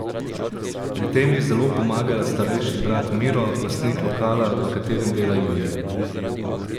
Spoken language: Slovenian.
Pri tem ji zelo pomaga starejši brat Miro, lastnik lokala, v katerem dela Julija.